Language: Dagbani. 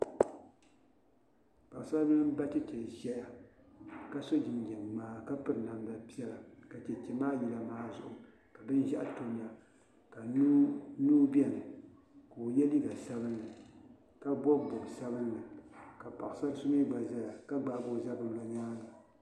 Paɣi saribili. n ba cheche n zaya ka so jinjam mŋaa ka piri namda pɛla, ka cheche maa yila maa zuɣu bɛn ʒɛɣu tamya ka mii beni kaɔ ye liiga sabinli ka. ka bɔb bɔbi sabinli, ka paɣasari. so mi gba zaya ka gbaa ɔ zabiri lɔ ɔnyaaŋa.